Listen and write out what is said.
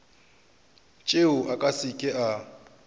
tšeo a se ke a